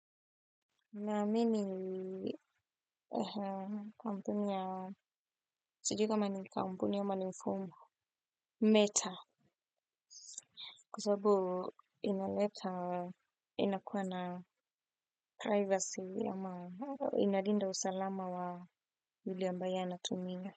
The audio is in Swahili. Na mimi kampuni ya, sijui kama ni kampuni ama ni mfumo meta kwasababu inaleta inakuwa na privacy ama inalinda usalama wa yule ambaye anatumia.